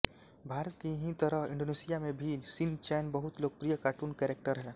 भारत की ही तरह इंडोनेशिया में भी शिनचैन बहुत लोकप्रिय कार्टून कैरेक्टर है